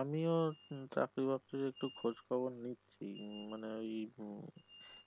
আমিও হম চাকরি বাকরির একটু খোজ খবর নিচ্ছি মানে ওই উম